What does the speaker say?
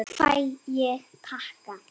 Fæ ég pakka?